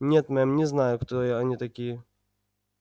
нет мэм не знаю кто я они такие